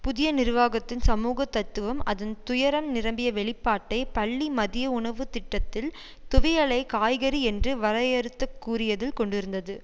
புதிய நிர்வாகத்தின் சமூக தத்துவம் அதன் துயரம் நிரம்பிய வெளிப்பாட்டை பள்ளி மதிய உணவுத்திட்டத்தில் துவையலை காய்கறி என்று வரையறுத்துக்கூறியதில் கொண்டிருந்தது